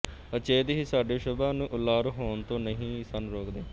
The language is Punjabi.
ਅਚੇਤ ਹੀ ਸਾਡੇ ਸੁਭਾ ਨੂੰ ਉਲਾਰ ਹੋਣ ਤੋਂ ਨਹੀਂ ਸਨ ਟੋਕਦੇ